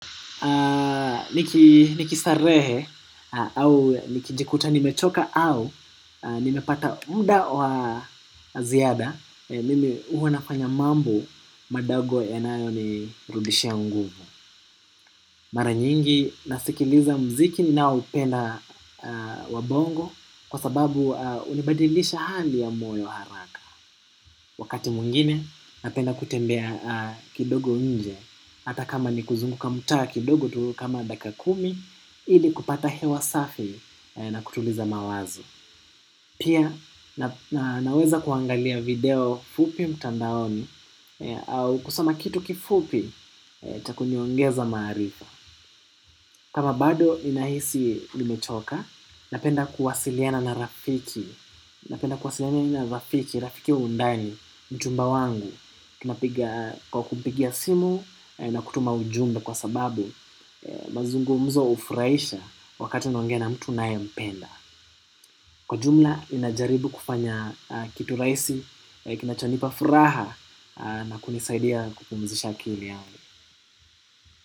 Nikistarehe au nikijikuta nimechoka au nimepata muda wa ziada mimi hua nafanya mambo madogo yanayonirudishia nguvu. Mara nyingi nasikiliza muziki ninaoupenda wa bongo kwa sababu hunibadilisha hali ya moyo haraka. Wakati mwingine napenda kutembea kidogo nje. Hata kama ni kuzunguka mtaa kidogo tu kama daka kumi ili kupata hewa safi na kutuliza mawazo. Pia naweza kuangalia video fupi mtandaoni au kusoma kitu kifupi cha kuniongeza maarifa. Kama bado ninahisi nimechoka napenda kuwasiliana na rafiki. Napenda kuwasiliana na rafiki, rafiki wa undani, mchumba wangu. Tunapiga kwa kumpigia simu na kutuma ujumbea kwa sababu mazungumzo hufurahisha wakati unaongea na mtu unayempenda. Kwa jumla ninajaribu kufanya kitu rahisi. Kinachonipa furaha na kunisaidia kupumzisha akili yangu.